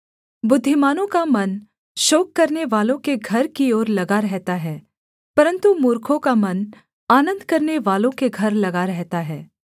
बुद्धिमानों का मन शोक करनेवालों के घर की ओर लगा रहता है परन्तु मूर्खों का मन आनन्द करनेवालों के घर लगा रहता है